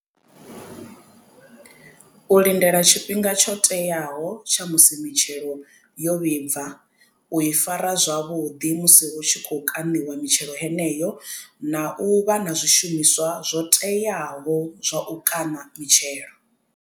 U lindela tshifhinga tsho teaho tsha musi mitshelo yo vhibva u i fara zwavhuḓi musi hu tshi khou kaṋiwa mitshelo heneyo na u vha na zwishumiswa zwo teaho zwa u kaṋa mitshelo.